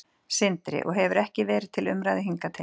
Sindri: Og hefur ekki verið til umræðu hingað til?